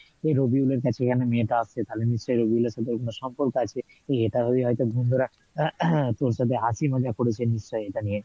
রবিউল এর কাছে কেনো মেয়েটা আসে তালে নিশ্চই রবিউল এর সাথে কোনো সম্পর্ক আছে এটা ভেবে হয়তো বন্ধুরা তোর সাথে হাসি মজাক করেছে নিশ্চই এটা নিয়ে?